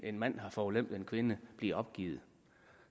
en mand har forulempet en kvinde bliver opgivet